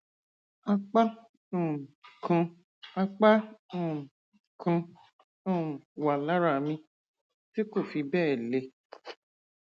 àpá um kan àpá um kan um wà lára mi tí kò fi bẹẹ le